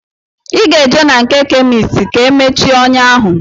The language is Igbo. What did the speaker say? Ị ga-eje na nke kemist ka e mechie ọnyá ahụ